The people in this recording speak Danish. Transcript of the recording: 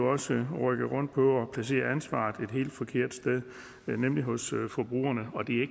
også rykke rundt på ansvaret og et helt forkert sted nemlig hos forbrugerne og det er